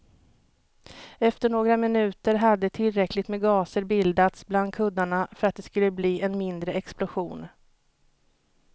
Efter några minuter hade tillräckligt med gaser bildats bland kuddarna för att det skulle bli en mindre explosion.